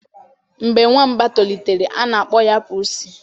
Mgbe nwamba tolitere, a na-akpọ ya pusi